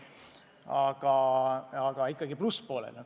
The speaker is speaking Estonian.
Aga ikkagi jääksime plusspoolele.